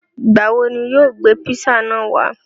Nígbàwọ̀ ni iwọ yóò gbe pízzà náà wà?